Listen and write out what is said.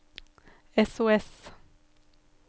sos